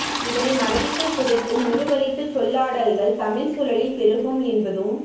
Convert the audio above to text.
இதனை மறதிக்குள் புதைக்கும் உருவழிப்புச் சொல்லாடல்கள் தமிழ்ச் சூழலில் பெருகும் என்பதும்